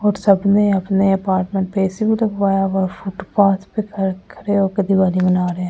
और सबने अपने अपार्टमेंट पे ए_सी भी लगवाया और फुटपाथ पे खड़े होके दिवाली माना रहें हैं ।